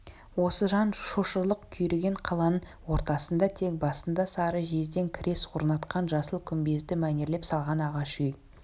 осы жан шошырлық күйреген қаланың ортасында тек басында сары жезден крес орнатқан жасыл күмбезді мәнерлеп салған ағаш үй